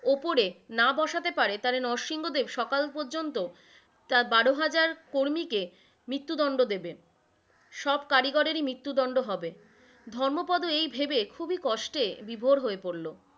ওপরে না বসাতে পারে তাহলে নঃসিংহদেব সকল পর্যন্ত তার বারো হাজার কর্মীকে মৃত্যুদণ্ড দেবেন, সব কারিগরের ই মৃত্যুদণ্ড হবে, ধর্মোপদ এই ভেবে খুবই কষ্টে বিভোর হয়ে পড়লো,